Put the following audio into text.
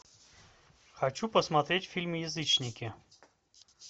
хочу посмотреть фильм язычники